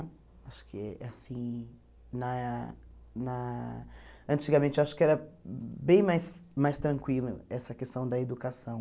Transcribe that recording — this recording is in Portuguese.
Acho que é assim, na na antigamente eu acho que era bem mais mais tranquilo essa questão da educação.